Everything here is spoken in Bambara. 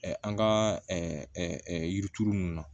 An ka yiri turu ninnu na